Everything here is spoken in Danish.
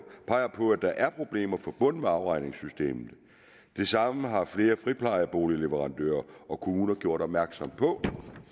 peger på at der er problemer forbundet med afregningssystemet det samme har flere friplejeboligleverandører og kommuner gjort opmærksom på